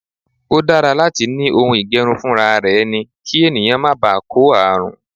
O dára láti ni ohun ìge̩run funraare̩ e̩ni kí ènìyàn má baà kó ààrùn.